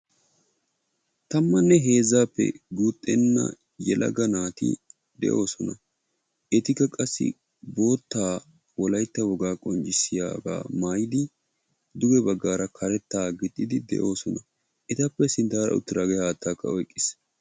Tamanne heezza gidiya yelaga naati de'osonna. Ettikka wolaytta wogaa qonccissiya maayuwa maayidosnna. Ettappe sinttan de'iyagee haatta oyqqiis.